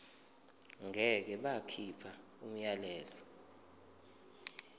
ngeke bakhipha umyalelo